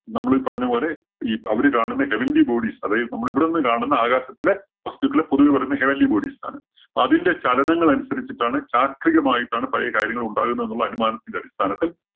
നമ്മളീ പറഞ്ഞപോലെ ഈ അവര് കാണുന്ന heavenly bodies അതായത് നമ്മള് ഇവിടെ നിന്ന് കാണുന്ന ആകാശത്തിലെ വസ്തുക്കളെ പൊതുവേ പറയുന്നത് heavenly bodies എന്നാണ്. അപ്പോ അതിന്റെ ചലനങ്ങളനുസരിച്ചിട്ടാണ് ചാക്രീകമായിട്ടാണ് പഴയ കാര്യങ്ങള്‍ ഉണ്ടാകുന്നത് എന്നുള്ള അനുമാനത്തിന്റെ അടിസ്ഥാനത്തില്‍